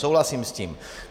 Souhlasím s tím.